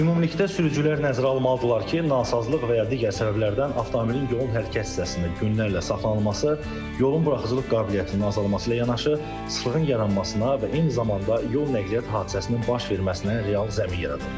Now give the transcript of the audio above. Ümumilikdə sürücülər nəzərə almalıdırlar ki, nasazlıq və ya digər səbəblərdən avtomobilin yolun hərəkət hissəsində günlərlə saxlanılması yolun buraxıcılıq qabiliyyətinin azalması ilə yanaşı, sıxlığın yaranmasına və eyni zamanda yol nəqliyyat hadisəsinin baş verməsinə real zəmin yaradır.